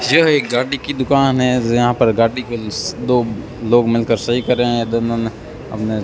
यह एक गाड़ी की दुकान है जहां पर गाड़ी को दो लोग मिल कर सही कर रहे हैं दोनों ने अपने --